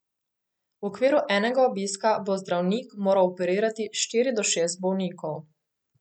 V okviru enega obiska bo zdravnik moral operirati štiri do šest bolnikov.